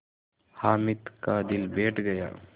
हामिद का दिल बैठ गया